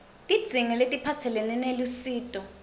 tidzingo letiphatselene nelusito